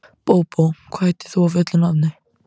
Bóbó, hvað heitir þú fullu nafni?